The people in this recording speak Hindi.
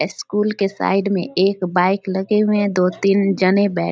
स्कूल के साइड में एक बाइक लगे हुए हैं दो तीन जने बै --